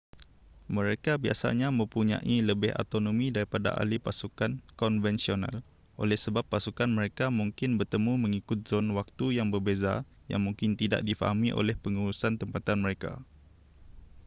mereka biasanya mempunyai lebih autonomi daripada ahli pasukan konvensional oleh sebab pasukan mereka mungkin bertemu mengikut zon waktu yang berbeza yang mungkin tidak difahami oleh pengurusan tempatan mereka